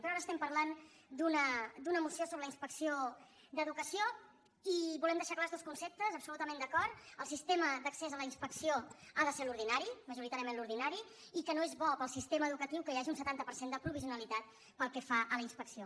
però ara estem parlant d’una moció sobre la inspecció d’educació i volem deixar clars dos conceptes absolutament d’acord el sistema d’accés a la inspecció ha de ser l’ordinari majoritàriament l’ordinari i que no és bo per al sistema educatiu que hi hagi un setanta per cent de provisionalitat pel que fa a la inspecció